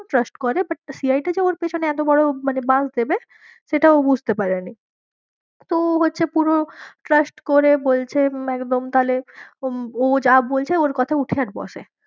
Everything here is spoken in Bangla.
পুরো trust করে butCI টা যে ওর পেছনে মানে এত বড়ো বাঁশ দেবে সেটা ও বুঝতে পারেনি তো ও হচ্ছে পুরো trust করে বলছে একদম তাহলে ও যা বলছে ওর কথায় ওঠে আর বসে।